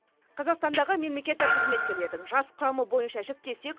қазақстандағы мемлекеттік қызметкерлердің жас құрамы бойынша жіктесек